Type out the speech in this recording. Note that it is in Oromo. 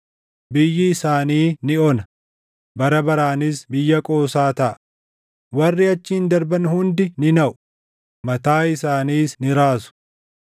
Biyyi isaanii ni ona; bara baraanis biyya qoosaa taʼa; warri achiin darban hundi ni naʼu; mataa isaaniis ni raasu.